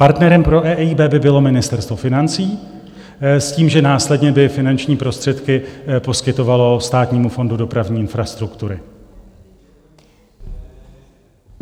Partnerem pro EIB by bylo Ministerstvo financí s tím, že následně by finanční prostředky poskytovalo Státnímu fondu dopravní infrastruktury.